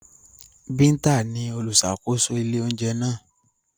Binta ni oluṣakoso ile ounjẹ naa.